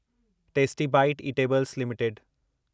tasty bite eatables limited